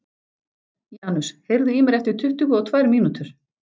Janus, heyrðu í mér eftir tuttugu og tvær mínútur.